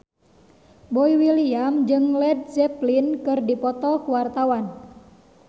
Boy William jeung Led Zeppelin keur dipoto ku wartawan